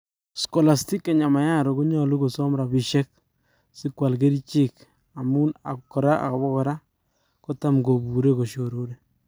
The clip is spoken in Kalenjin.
Scolastica Nyamayaro konyalu kosam rapishek si kwal ngerchek ak kora ipa kora kotam kopure koshororen